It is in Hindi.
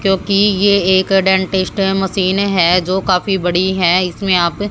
क्योंकि ये एक डेंटिस्ट मशीन है जो काफी बड़ी है इसमें आप--